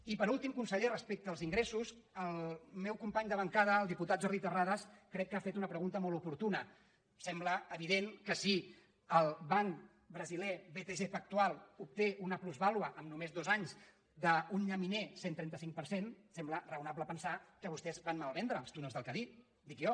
i per últim conseller respecte als ingressos el meu company de bancada diputat jordi terrades crec que ha fet una pregunta molt oportuna sembla evident que si el banc brasiler btg pactual obté una plusvà·lua en només dos anys d’un llaminer cent i trenta cinc per cent sembla raonable pensar que vostès van malvendre els túnels del cadí dic jo